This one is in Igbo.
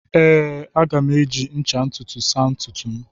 Ee, a ga m eji ncha ntutu saa ntutu m.